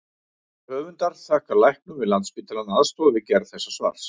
Höfundar þakkar læknum við Landspítalann aðstoð við gerð þessa svars.